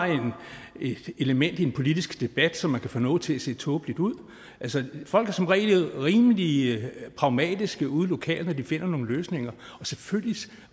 et element i en politisk debat så man kan få noget til at se tåbeligt ud folk er som regel rimelig pragmatiske ude lokalt når de skal finde nogle løsninger og selvfølgelig